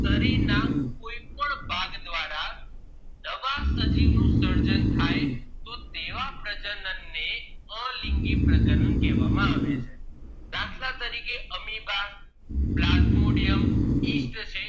આમ સજીવ નું સર્જન થાય તો તેવા પ્રજનન ને અલિંગી પ્રજનન કેહવામાં આવે છે દાખલા તરીકે amoeba plasmodium